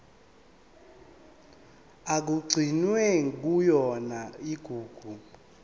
okugcinwe kuyona igugu